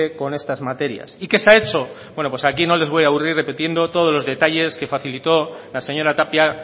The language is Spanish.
con estas materias y qué se ha hecho bueno pues aquí no les voy a aburrir repitiendo todos los detalles que facilitó la señora tapia